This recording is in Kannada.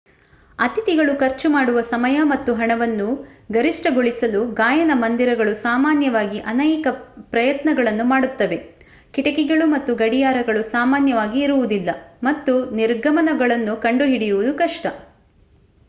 ಅತಿಥಿಗಳು ಖರ್ಚು ಮಾಡುವ ಸಮಯ ಮತ್ತು ಹಣವನ್ನು ಗರಿಷ್ಠಗೊಳಿಸಲು ಗಾಯನ ಮoದಿರಗಳು ಸಾಮಾನ್ಯವಾಗಿ ಅನೇಕ ಪ್ರಯತ್ನಗಳನ್ನು ಮಾಡುತ್ತವೆ. ಕಿಟಕಿಗಳು ಮತ್ತು ಗಡಿಯಾರಗಳು ಸಾಮಾನ್ಯವಾಗಿ ಇರುವುದಿಲ್ಲ ಮತ್ತು ನಿರ್ಗಮನಗಳನ್ನು ಕಂಡುಹಿಡಿಯುವುದು ಕಷ್ಟ